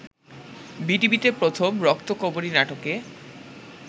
বিটিভিতে প্রথম ‘রক্তকরবী’ নাটকে